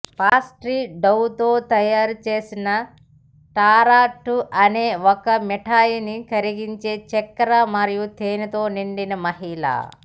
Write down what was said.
pastry డౌతో తయారు చేసిన టార్టా అనే ఒక మిఠాయిని కరిగించే చక్కెర మరియు తేనెతో నిండిన మహిళ